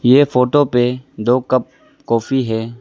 ये फोटो पे दो कप कॉफी है।